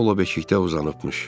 Paula beşikdə uzanıbmış.